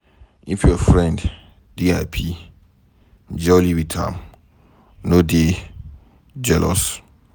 If your friend dey happy, jolly with am no dey jealous.